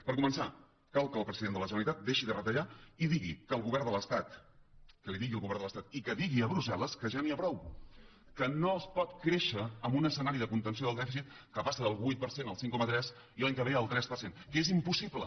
per començar cal que el president de la generalitat deixi de retallar i que li digui al govern de l’estat i que digui a brussel·les que ja n’hi ha prou que no es pot créixer en un escenari de contenció del dèficit que passa del vuit per cent al cinc coma tres i l’any que ve al tres per cent que és impossible